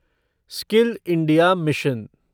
skill India mission